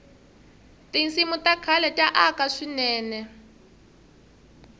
tinsimu ta khale ta aka swinene